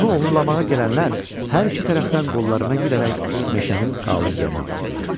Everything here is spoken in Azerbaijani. Onu oğurlamağa gələnlər hər iki tərəfdən qollarına girərək meşənin qalı yerinə apardılar.